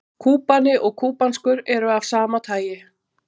Kúbani og kúbanskur eru af sama tagi.